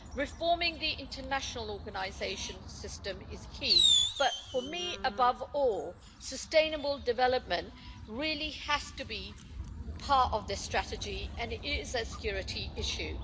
Reforming the international organisation system is key, but for me, above all, sustainable development really has to be part of this strategy and it is a security issue.